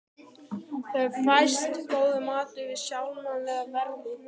Þar fæst góður matur við sæmilegu verði.